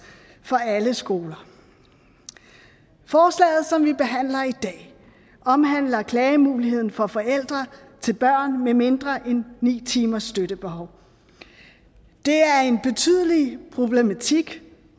for alle skoler forslaget som vi behandler i dag omhandler klagemuligheden for forældre til børn med mindre end ni timers støttebehov det er en betydelig problematik